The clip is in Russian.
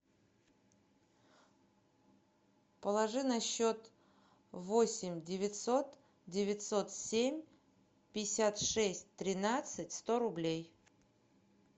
положи на счет восемь девятьсот девятьсот семь пятьдесят шесть тринадцать сто рублей